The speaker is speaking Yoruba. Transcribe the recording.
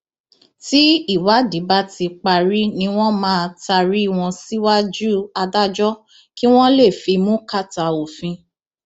tí ìwádìí bá ti parí ni wọn máa taari wọn síwájú adájọ kí wọn lè fimú kàtà òfin